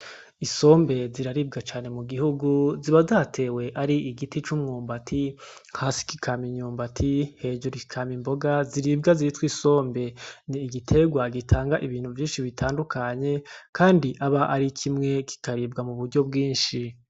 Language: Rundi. Isombe ziraribwa cane mugihungu, ziba zatewe ar'igiti c'umwumbati hasi kikama imyumbati hejuru kikama imboga ziribwa zitwa isombe, n'igiterwa gitanga ibintu vyinshi bitadukanye kandi aba arikimwe kikaribwa muburyo bwinshi.